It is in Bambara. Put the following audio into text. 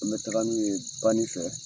An be taga n'u ye bani fɛ.